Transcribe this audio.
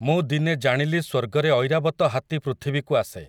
ମୁଁ ଦିନେ ଜାଣିଲି ସ୍ୱର୍ଗରେ ଐରାବତ ହାତୀ ପୃଥିବୀକୁ ଆସେ ।